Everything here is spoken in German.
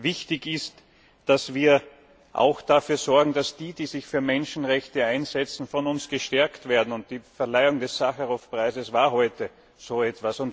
Wichtig ist, dass wir auch dafür sorgen, dass die, die sich für Menschenrechte einsetzen, von uns gestärkt werden, und die Verleihung des Sacharow Preises heute war ein Beitrag dazu.